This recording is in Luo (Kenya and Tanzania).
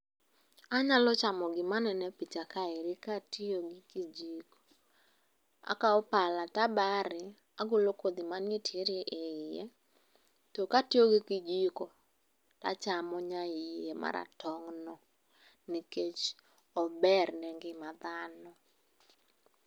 Anyalo chamo gima aneno e picha kaeri, kaatiyo go kijiko. Akao pala tabare, agolo kodhi manitiere e iye, tokatiyo gi kijiko, achamo nyaie maratong'no, nikech ober ne ngima dhano.